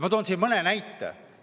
Ma toon siin mõne näite.